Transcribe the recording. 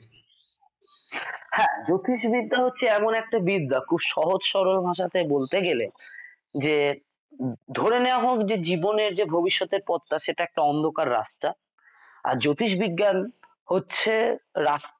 হ্যা জ্যোতিষবিদ্যা হচ্ছে এমন একটা বিদ্যা খুব সহজ সরল ভাষাতে বলতে গেলে যে ধরে নেয়া হোক যে জীবনে যে ভবিষ্যতের পথ সেটা একটা অন্ধকার রাস্তা। আর জ্যোতিষবিজ্ঞান হচ্ছে রাস্তা